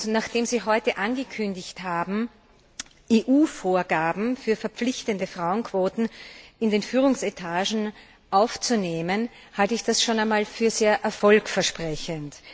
Nachdem Sie heute angekündigt haben, EU Vorgaben für verpflichtende Frauenquoten in den Führungsetagen aufzunehmen, halte ich das schon einmal für sehr erfolgversprechend.